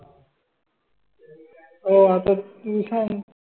अह आता mission